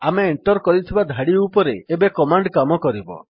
ଆମେ ଏଣ୍ଟର୍ କରିଥିବା ଧାଡି ଉପରେ ଏବେ କମାଣ୍ଡ୍ କାମ କରିବ